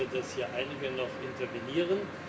Ich weiß ja, dass hier einige noch intervenieren.